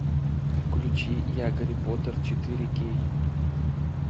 включи я гарри поттер четыре кей